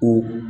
Ko